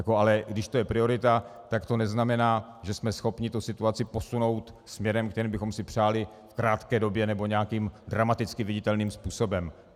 Ale když to je priorita, tak to neznamená, že jsme schopni tu situaci posunout směrem, kterým bychom si přáli, v krátké době nebo nějakým dramaticky viditelným způsobem.